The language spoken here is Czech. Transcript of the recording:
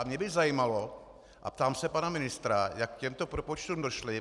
A mě by zajímalo a ptám se pana ministra, jak k těmto propočtům došli.